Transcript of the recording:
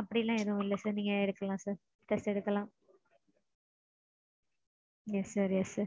அப்படிலாம் எதுவும் இல்ல sir. நீங்க எடுக்கலாம் sir. Test எடுக்கலாம். Yes sir. Yes sir.